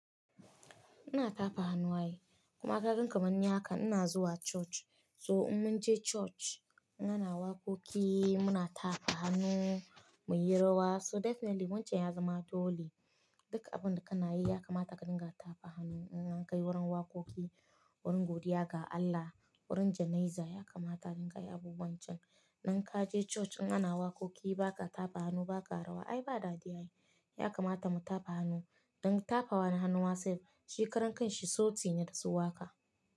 Ina tafa hannu ai, kuma kaga kamanni haka ina zuwa church. So in mun je church, in ana wakoki muna tafa hannu, muyi rawa. So definitely wancan ya zama dole. Duk abun da kana yi yakamata ka dinga tafa hannu. In an kai wurin wakoki, wurin godiya ga Allah, wurin jana'iza yakamata ka dinga yi abubuwan can. Nan kaje church in ana wakoki baka tafa hannu, baka rawa ai ba dadi ai. Yakamata mu tafa hannu. In tafawa da hannu masaif, shikaran kan shi sauti ne da su waka.